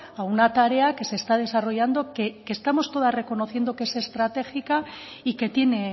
a una tarea que se está desarrollando que estamos todas reconociendo que es estratégica y que tiene